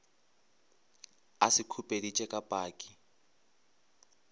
a se khupeditše ka paki